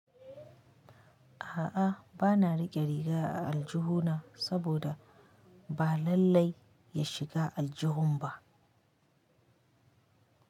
A'a, ba na riƙe riga a aljihu na saboda ba lallai ya shiga aljihun ba.